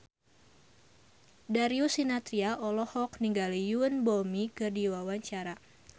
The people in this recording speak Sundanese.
Darius Sinathrya olohok ningali Yoon Bomi keur diwawancara